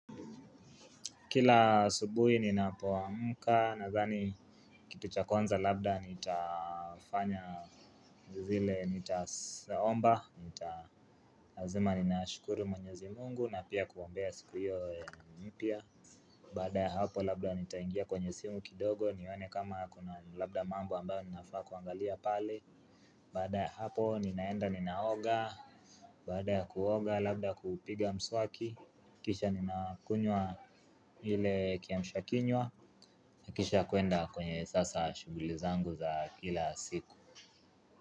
Kila asubuhi ninapoamka nadhani kitu cha kwanza labda nitafanya zile, nitaomba, nita lazima ninashukuru mwenyezi mungu na pia kuombea siku hiyo mpya. Baada ya hapo labda nitaingia kwenye simu kidogo nione kama kuna labda mambo ambayo ninafaa kuangalia pale. Baada ya hapo ninaenda ninaoga, baada ya kuoga labda kupiga mswaki, kisha ninakunywa ile kiamshakinywa. Na kisha kuenda kwenye sasa shughuli zangu za kila siku.